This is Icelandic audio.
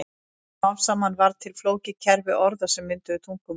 Smám saman varð til flókið kerfi orða sem mynduðu tungumál.